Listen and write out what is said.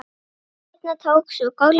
Seinna tók svo golfið við.